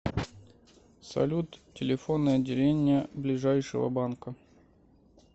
салют телефоны отделения ближайшего банка